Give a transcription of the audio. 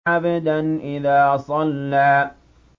عَبْدًا إِذَا صَلَّىٰ